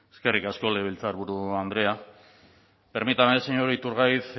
eskerrik asko legebiltzarburu andrea permítame señor iturgaiz